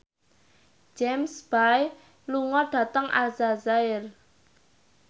James Bay lunga dhateng Aljazair